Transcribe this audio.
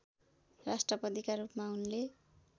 राष्ट्रपतिका रूपमा उनले